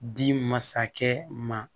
Di masakɛ ma